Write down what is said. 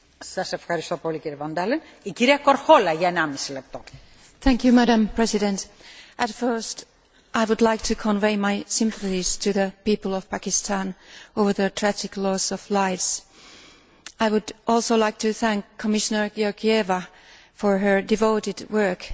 Madam President, firstly, I would like to convey my sympathy to the people of Pakistan over the tragic loss of lives. I would also like to thank Commissioner Georgieva for her devoted work in making Pakistan an urgent priority on her agenda.